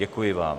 Děkuji vám.